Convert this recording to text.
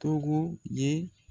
Togo ye